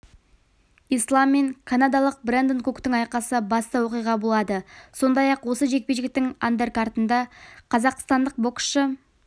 ислам мен канадалық брэндон куктың айқасы басты оқиға болады сондай-ақ осы жекпе-жектің андеркартында қазақстандық боксшы